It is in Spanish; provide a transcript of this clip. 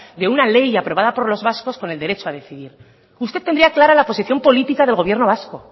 de una ley aprobado por los vascos con el derecho a decidir usted tendría clara la posición política del gobierno vasco